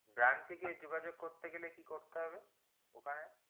branch থেকে যোযাযোগ করতে গেলে কি করতে হবে